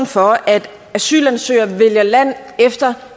for at asylansøgere vælger land efter